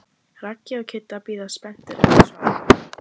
Raggi og Kiddi bíða spenntir eftir svari.